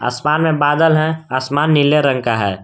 आसमान में बादल है आसमान नीले रंग का है।